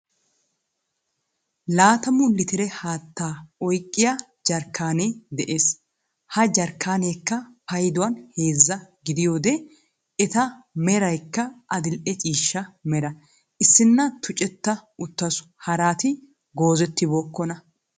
Laattamu litire haattaa oyqqiyaa jarkkaanee de'ees. ha jarkkaanekka payduwaan heezza gidiyoode eta meraykka adil"e ciishsha mera. issinna tuuccetta uttaasu haraati goozettibookona.